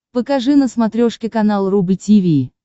покажи на смотрешке канал рубль ти ви